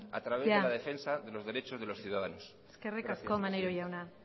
a través de la defensa de los derechos de los ciudadanos gracias presidenta eskerrik asko maneiro jauna